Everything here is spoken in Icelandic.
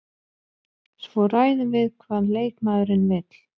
Svo ræðum við hvað leikmaðurinn vill.